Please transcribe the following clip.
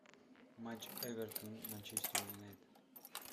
матч эвертон манчестер юнайтед